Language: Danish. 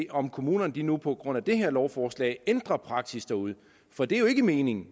om kommunerne nu på grund af det her lovforslag ændrer praksis derude for det er jo ikke meningen